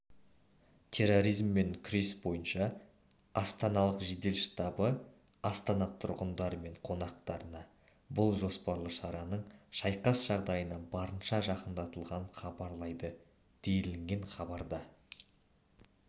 терроризммен күрес бойынша астаналық жедел штабы аітана тұрғындары мен қонақтарынабұл жоспарлы шараның шайқас жағдайына барынша жақындатылғанын хабарлайды делінген хабарда